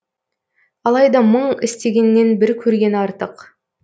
алайда мың естігеннен бір көрген артық